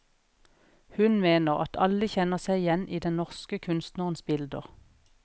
Hun mener at alle kjenner seg igjen i den norske kunstnerens bilder.